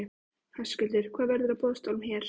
Höskuldur: Hvað verður á boðstólum hér?